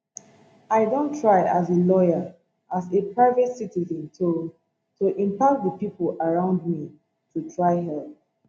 i don try as a lawyer as a private citizen to to impact di pipo around me to try help